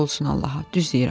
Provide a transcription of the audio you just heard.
And olsun Allaha, düz deyirəm.